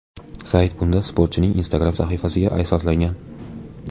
Sayt bunda sportchining Instagram sahifasiga asoslangan.